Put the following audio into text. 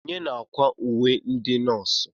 Onye na-akwa uwe ndị nọọsụ?